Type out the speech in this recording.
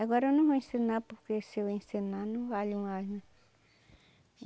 Agora eu não vou ensinar porque se eu ensinar não vale mais, né?